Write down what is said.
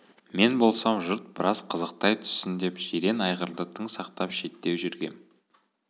мен болсам жұрт біраз қызықтай түссін деп жирен айғырды тың сақтап шеттеу жүргем